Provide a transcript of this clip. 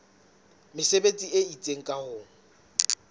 mesebetsi e itseng ka ho